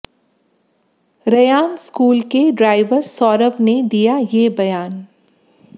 Ryan school के driver Saurabh ने दिया ये बयान